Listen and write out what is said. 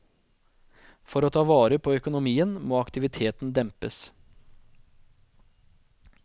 For å ta vare på økonomien må aktiviteten dempes.